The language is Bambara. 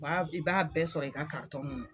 B'a i b'a bɛɛ sɔrɔ i ka ŋɔnɔ